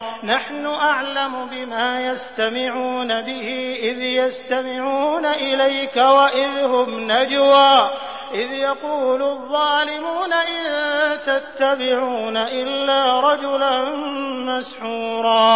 نَّحْنُ أَعْلَمُ بِمَا يَسْتَمِعُونَ بِهِ إِذْ يَسْتَمِعُونَ إِلَيْكَ وَإِذْ هُمْ نَجْوَىٰ إِذْ يَقُولُ الظَّالِمُونَ إِن تَتَّبِعُونَ إِلَّا رَجُلًا مَّسْحُورًا